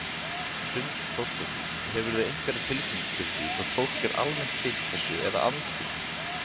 Hrund Þórsdóttir: Hefurðu einhverja tilfinningu fyrir því hvort fólk er almennt hlynnt þessu eða andvígt?